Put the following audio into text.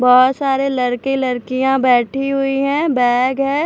बहुत सारे लड़के लड़कियां बैठी हुई हैं बैग है।